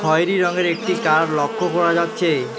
খয়রি রঙের একটি কার লক্ষ্য করা যাচ্ছে।